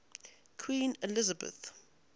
queen elizabeth